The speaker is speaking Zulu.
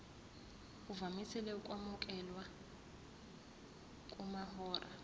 uvamise ukwamukelwa kumahora